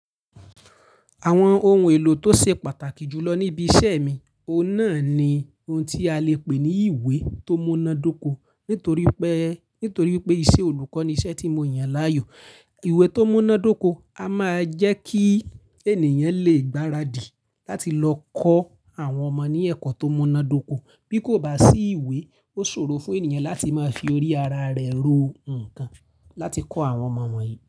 Àwọn ohun èlò tó ṣe pàtàkì jù lọ níbi iṣẹ́ mi, ọ̀nà ni ohun tí a lè pè ní ìwé tó múná dóko nítorí pé, nítorí pé isẹ olùkọ́ ni iṣẹ́ tí mo yàn láàyò. Ìwé tó múná dóko a máa jẹ́ kí ènìyàn lè gbaradì láti lọ kọ́ àwọn ọmọ ní ẹ̀kọ́ tó múná dóko. Bí kò bá sí ìwé, ó ṣòro fún ènìyàn láti máa fi orí ara rẹ̀ ro nǹkan láti kọ́ àwọn ọmọ wọ̀nyí.